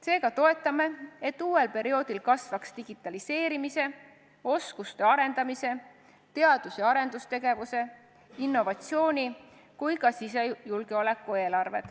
Seega toetame seda, et uuel perioodil kasvaks digitaliseerimise, oskuste arendamise, teadus- ja arendustegevuse, innovatsiooni ja ka sisejulgeoleku eelarve.